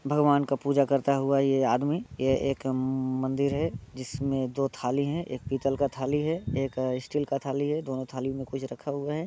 भगवान का पूजा करता हुवा ये आदमी। ये एक मंदिर है जिसमें दो थाली हैं एक पीतल का थाली है एक स्टील का थाली है। दोनों थाली में कुछ रखा हुवा है।